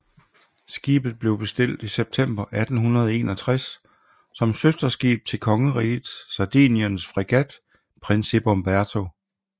Skibet blev bestilt i september 1861 som søsterskib til kongeriget Sardiniens fregat Principe Umberto